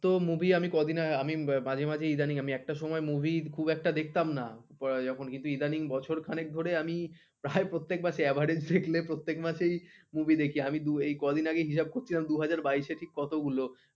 তো movie আমি কদিন আগে আমি মাঝে মাঝে ইদানিং আমি, একটা সময় movie খুব একটা দেখতাম না ইদানিং বছর খানের ধরে আমি প্রত্যেক প্রায় প্রত্যেক মাসে দেখলে প্রত্যেক মাসেই movie দেখি এই কদিন হিসাব করছিলাম দুই হাজার বাইয়েসে ঠিক কতগুলো